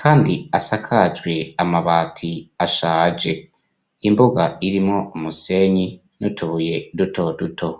kandi asakajwe amabati ashaje, imbuga irimwo umusenyi n'utubuye duto duto.